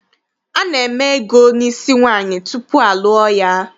Ana-eme ego n'isi nwaanyị tupu a lụọ ya.